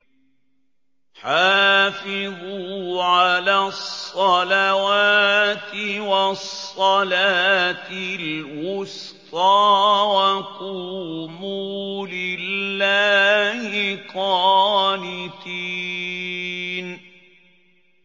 حَافِظُوا عَلَى الصَّلَوَاتِ وَالصَّلَاةِ الْوُسْطَىٰ وَقُومُوا لِلَّهِ قَانِتِينَ